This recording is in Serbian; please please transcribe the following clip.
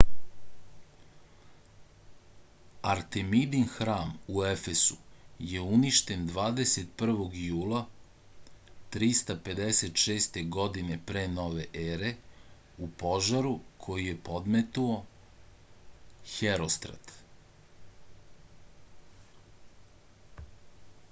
artemidin hram u efesu je uništen 21. jula 356. godine p.n.e. u požaru koji je podmetnuo herostrat